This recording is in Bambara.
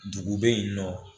Dugu be yen nɔ